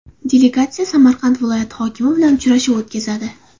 Delegatsiya Samarqand viloyati hokimi bilan uchrashuv o‘tkazadi.